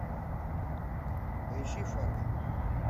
поищи фарго